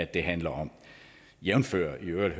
det handler om jævnfør i øvrigt